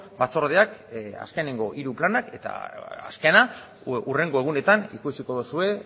batzordeak azkeneko hiru planak eta azkena hurrengo egunetan ikusiko duzue